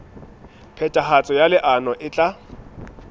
phethahatso ya leano e tla